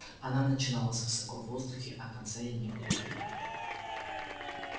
она начиналась высоко в воздухе а конца ей не было видно